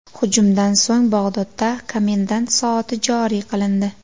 Hujumdan so‘ng Bag‘dodda komendant soati joriy qilindi.